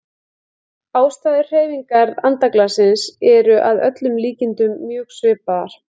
Ástæður hreyfingar andaglassins eru að öllum líkindum mjög svipaðar.